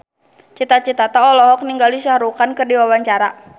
Cita Citata olohok ningali Shah Rukh Khan keur diwawancara